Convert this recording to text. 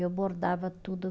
Eu bordava tudo.